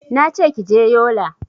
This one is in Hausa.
Nace kije yola